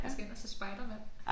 Jeg skal ind og se Spiderman